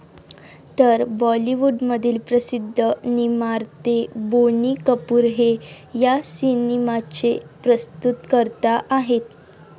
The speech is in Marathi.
तर बॉलीवूडमधील प्रसिध्द निर्माते बोनी कपूर हे या सिनेमाचे प्रस्तुतकर्ता आहेत.